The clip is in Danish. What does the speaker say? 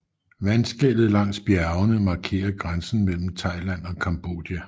Vandskellet langs bjergene markerer grænsen mellem Thailand og Cambodja